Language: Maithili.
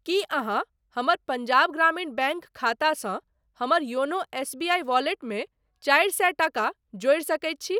की अहाँ हमर पंजाब ग्रामीण बैंक खातासँ हमर योनो एसबीआई वॉलेटमे चारि सए टाका जोड़ि सकैत छी ?